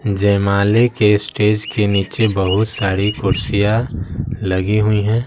जयमाले के स्टेज के नीचे बहुत सारी कुर्सियां लगी हुई हैं।